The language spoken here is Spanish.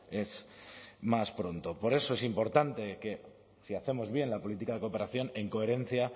es más pronto por eso es importante que si hacemos bien la política de cooperación en coherencia